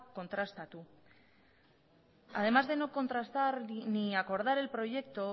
kontrastatu ere además de no contrastar ni acordar el proyecto